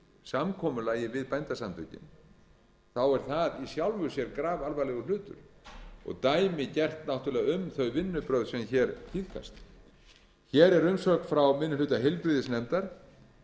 samkomulagi við bændasamtökin er það í sjálfu sér grafalvarlegur hlutur og dæmigert náttúrlega um þau vinnubrögð sem hér tíðkast hér er umsögn frá minni hluta heilbrigðisnefndar